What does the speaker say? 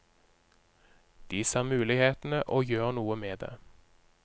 De ser mulighetene og gjør noe med det.